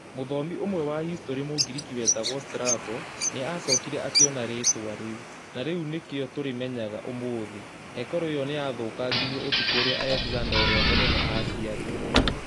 Mũthomi ũmwe wa historĩ Mũngiriki wetagwo Strabo, nĩ aacokire akiona rĩĩtwa rĩu, na riu nĩkĩo tũrimenyaga ũmũthĩ. Hekarũ ĩyo nĩ yathũkangirio ũtukũ ũrĩa Alexander ũrĩa Mũnene aaciarirũo.